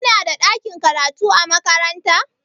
Kunada ɗakin karatu a makaranta?